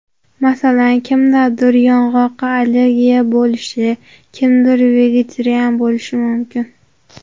Masalan, kimdadir yong‘oqqa allergiya bo‘lishi, kimdir vegetarian bo‘lishi mumkin.